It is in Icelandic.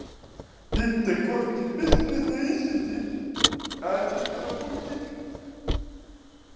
Hitt er hvorki bisness né vísindi, aðeins eins konar pólitík.